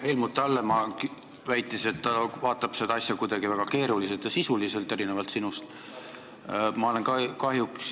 Helmut Hallemaa väitis, et ta vaatab seda asja kuidagi väga keeruliselt ja sisuliselt, erinevalt sinust.